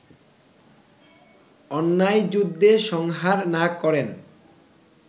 অন্যায়যুদ্ধে সংহার না করেন